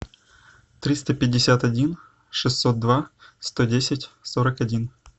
триста пятьдесят один шестьсот два сто десять сорок один